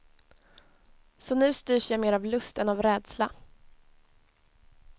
Så nu styrs jag mer av lust än av rädsla.